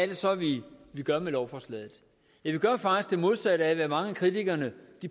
det så vi gør med lovforslaget ja vi gør faktisk det modsatte af hvad mange af kritikerne